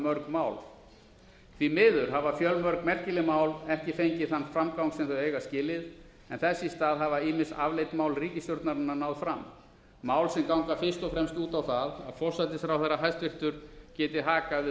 mörg mál því miður hafa mörg merkileg mál ekki fengið þann framgang sem þau eiga skilið en þess í stað hafa ýmis afleidd mál ríkisstjórnarinnar náð fram mál sem ganga fyrst og fremst út á það að hæstvirtur forsætisráðherra geti hakað við